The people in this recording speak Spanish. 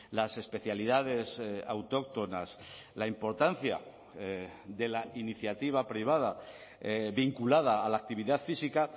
las especialidades autóctonas la importancia de la iniciativa privada vinculada a la actividad física